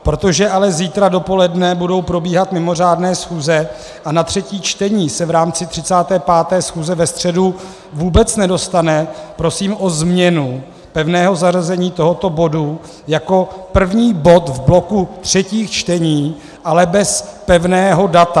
Protože ale zítra dopoledne budou probíhat mimořádné schůze a na třetí čtení se v rámci 35. schůze ve středu vůbec nedostane, prosím o změnu pevného zařazení tohoto bodu jako první bod v bloku třetích čtení, ale bez pevného data.